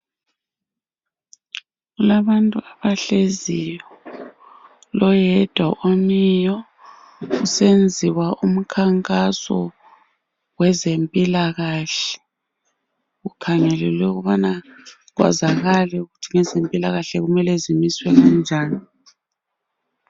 Kulabantu abahleziyo loyedwa omiyo kusenziwa umkhankaso wezempilakahle kukhangelelwe ukuthi wezempilakahle kumele zimiswe kanjani